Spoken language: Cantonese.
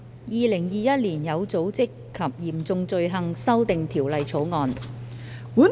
《2021年有組織及嚴重罪行條例草案》。